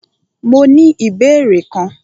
Mó ní ìbéèrè kan.